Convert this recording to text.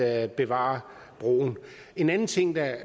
at bevare broen en anden ting der